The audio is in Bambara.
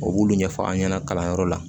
U b'ulu ɲɛfɔ an ɲɛna kalanyɔrɔ la